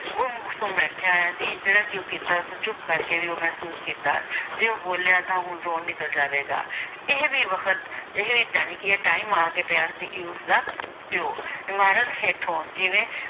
ਗੁੰਮ-ਸੁੰਮ ਬੈਠਿਆ ਹੋਇਆ ਸੀ, ਜਿਹੜਾ ਕੀਤਾ ਚੁੱਪ ਕਰਕੇ ਵੀ ਉਹ ਮਹਿਸੂਸ ਕੀਤਾ ਜੇ ਉਹ ਬੋਲਿਆ ਤਾਂ ਹੁਣ ਰੋਣ ਨਿਕਲ ਜਾਵੇਗਾ ਇਹ ਕੀ ਵਖ਼ਤ ਇਹ ਜਾਣੀ ਕਿ time ਆ ਕੇ ਪਿਆ ਸੀ ਕਿ ਉਸਦਾ ਪਿਓ ਇਮਾਰਤ ਹੇਠੋਂ ਜਿਵੇਂ